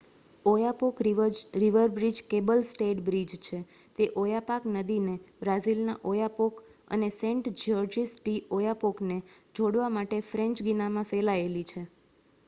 Oyapock river bridge cable stayed bridge છે તે Oyapock નદીને બ્રાઝિલના ઓયાપોક અને સેંટ જ્યોર્જિસ ડી ઓયાપોકને જોડવા માટે ફ્રેંચ ગિનામાં ફેલાયેલી છે